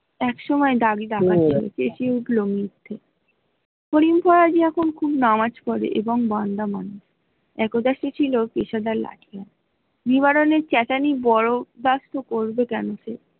একসময় এখন খুব নামাজ পরে এবং নিবারের চেঁচানি ।